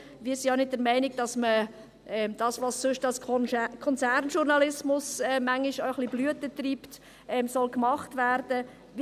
Wir sind auch nicht der Meinung, dass das, was als Konzernjournalismus manchmal ein wenig Blüten treibt, gemacht werden soll.